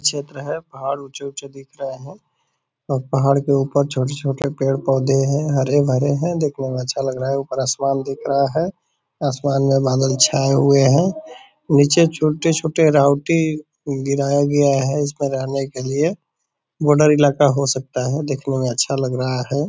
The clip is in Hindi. क्षेत्र है पहाड़ ऊँचे-ऊँचे दिख रहे हैं और पहाड़ के ऊपर छोटे-छोटे पेड़-पौधे हैं हरे भरे हैं देखने में अच्छा लग रहा है ऊपर आसमान दिख रहा है आसमान में बादल छाए हुए हैं नीचे छोटे-छोटे राऊटी गिराया गया है इसमे रहने के लिए बॉर्डर इलाका हो सकता है देखने में अच्छा लग रहा है।